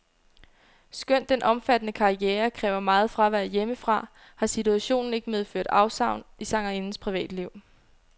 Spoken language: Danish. Skønt den omfattende karriere kræver meget fravær hjemmefra, har situationen ikke medført afsavn i sangerindens privatliv.